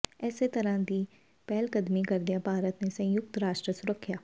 ਇਸੇ ਤਰ੍ਹਾਂ ਦੀ ਪਹਿਲਕਦਮੀ ਕਰਦਿਆਂ ਭਾਰਤ ਨੇ ਸੰਯੁਕਤ ਰਾਸ਼ਟਰ ਸੁਰੱਖਿਆ